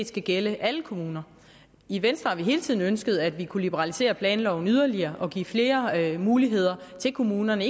skal gælde alle kommuner i venstre har vi hele tiden ønsket at vi kunne liberalisere planloven yderligere og give flere muligheder til kommunerne